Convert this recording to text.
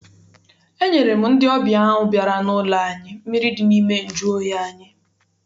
Enyere m ndị ọbịa ahụ bịara n'ụlọ anyị mmiri dị n'ime nju oyi anyị.